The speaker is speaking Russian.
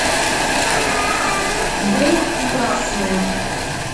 бум и красные